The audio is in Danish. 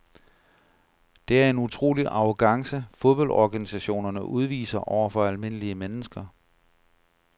Det er en utrolig arrogance fodboldorganisationerne udviser over for almindelige mennesker.